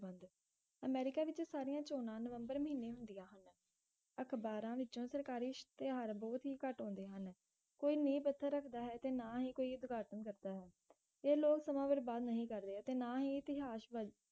America ਵਿਚ ਸਾਰੀਆਂ ਚੋਣਾਂ ਨਵੰਬਰ ਮਹੀਨੇ ਹੁੰਦੀਆਂ ਹਨ ਅਖਬਾਰਾਂ ਵਿਚੋਂ ਸਰਕਾਰੀ ਇਸ਼ਤਿਹਾਰ ਬਹੁਤ ਹੀ ਘਟ ਆਉਂਦੇ ਹਨ ਕੋਈ ਨੀਵ ਪੱਥਰ ਰੱਖਦਾ ਹੈ ਤੇ ਨਾ ਹੀ ਕੋਈ ਉਦਘਾਟਨ ਕਰਦਾ ਹੈ ਇਹ ਲੋਗ ਸਮਾਂ ਬਰਬਾਦ ਨਹੀਂ ਕਰ ਰਹੇ ਤੇ ਨਾ ਹੀ ਇਸ਼ਤਿਹਾਰ